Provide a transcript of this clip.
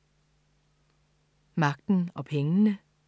Magten og pengene